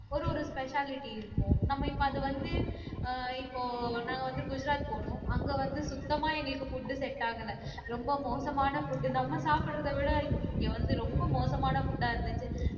ஒரு ஒரு specialty இருக்கும் நம்ம இப்ப அது வந்து ஆஹ் இப்போ நாங்க வந்து குஜராத் போனோம் அங்கே வந்து சுத்தமா எங்களுக்கு food set ஆகல ரொம்ப மோசமான food நம்ம சாப்பிடுறதை விட இங்கே வந்து ரொம்ப மோசமான food ஆ இருந்துச்சு